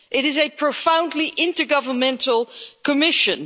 It is a profoundly intergovernmental Commission.